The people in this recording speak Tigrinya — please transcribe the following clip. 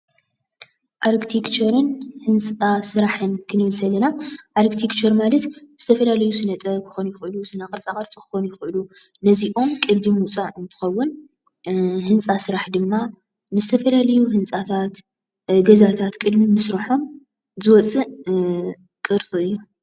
ኣርክቴክቸርን ህንፃ ስራሕን ክንብል ከለና ኣርክቴክቸር ማለት ዝተፈላለዩ ስነ ጥበብ ክኾኑ ይኽእሉ ስነ ቅርፃ ቅርፂ ክኾኑ ይኽእሉ ነዚኦም ቅዲ ምውፃእ እንትኸውን ህንፃ ስራሕ ድማ ንዝተፈላለዩ ህንፃታት ገዛታት ቅድሚ ምስርሖም ዝወፅእ ቅርፂ እዩ፡፡